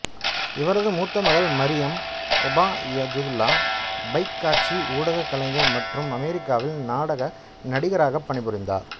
இவரது மூத்த மகள் மரியம் ஒபாயதுல்லா பைக் காட்சி ஊடக கலைஞர் மற்றும் அமெரிக்காவில் நாடக நடிகராகப் பணிபுரிந்தார்